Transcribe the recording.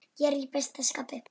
Ég er í besta skapi.